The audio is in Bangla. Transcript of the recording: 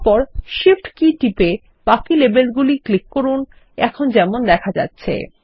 তারপর Shift কি টিপে বাকি লেবেলগুলি ক্লিক করুন এখন যেমন দেখা যাচ্ছে